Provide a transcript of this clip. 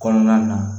Kɔnɔna na